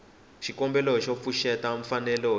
xikombelo xo pfuxeta mfanelo ya